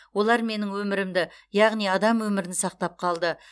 олар менің өмірімді яғни адам өмірін сақтап қалды